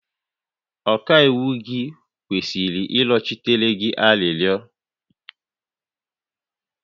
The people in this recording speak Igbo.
Ọkaiwu gị kwesịrị ịrịọchitere gị arịrịọ